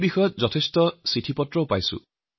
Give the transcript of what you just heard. সেইকাৰণে কৃষি সম্পৰ্কীয় চিঠি প্ৰচুৰ পৰিমানে আহিছে